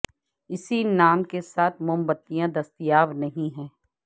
اسی نام کے ساتھ موم بتیاں دستیاب نہیں ہے